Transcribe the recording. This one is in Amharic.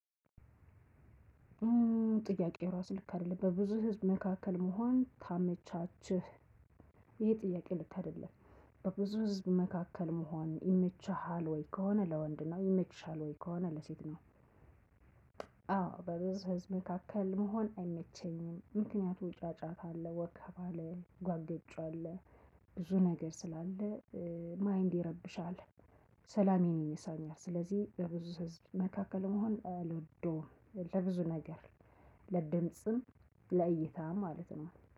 ጥያቄው እራሱ ልክ አይደለም በብዙ ህዘብ መካከል መሆን ታመቻቸህ ይሄ ጥያቄ ልክ አይደለም? በብዙ ህዝብ መካከል መሆን ይመችሃል ወይ ከሆነ ለወንድ ነው ይመችሻል ወይ ከሆነ ለሴት ነው? አዎ በብዙ ህዝብ መካከል መሆን አይመቸኝም ምክንያቱም ጫጫታ አለ ወከባ አለ ጓገጭ አለ። ብዙ ነገር ስላለ። ማይንድ ይረብሻል። ሰላሜን ይነሳኛል ስለዚህ በብዙ ህዝብ መካከል መሆን አልወደውም። ለብዙ ነገር ለድምጽም ለእይታም ማለት ነው